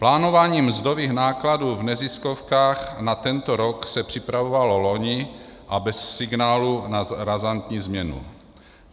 Plánování mzdových nákladů v neziskovkách na tento rok se připravovalo vloni a bez signálu na razantní změnu.